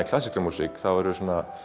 klassíska músík þá eru